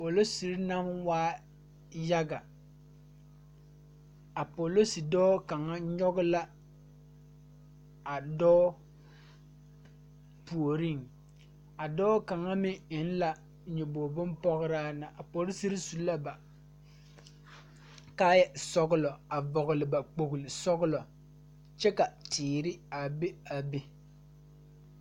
Poliserre naŋ waa yaga a polise dɔɔ kaŋ nyoge la a dɔɔ puoriŋ a dɔɔ kaŋa meŋ eŋ la nyoboge bonpɔgraa na a poliserre su la na kaayɛ sɔglɔ a vɔgle ba kpogle sɔglɔ kyɛ ka teere a ba a be.